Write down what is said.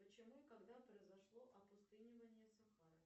почему и когда произошло опустынивание сахары